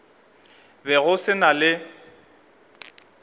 be go se na le